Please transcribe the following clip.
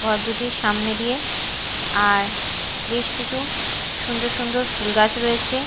ঘর দুটির সামনে দিয়ে আর বেশ কিছু সুন্দর সুন্দর ফুল গাছ রয়েছে।